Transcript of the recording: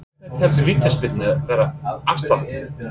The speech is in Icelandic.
En hvenær telst vítaspyrna vera afstaðin?